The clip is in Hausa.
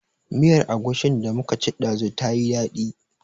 Miyar Agushin da muka ci ɗazu ta yi daɗi